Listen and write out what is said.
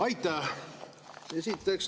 Aitäh!